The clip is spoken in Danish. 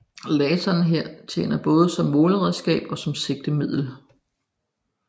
Laseren tjener her både som måleredskab og som sigtemiddel